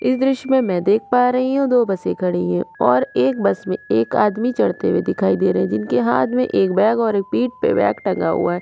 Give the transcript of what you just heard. इस दृश्य में मैं देख पा रही हु दो बसे खड़े है और एक बस में एक आदमी चढ़ते हुए दिखाई दे रहा है जिनके हाथ में एक बॅग और एक पीट पे बॅग टंगा हुआ है।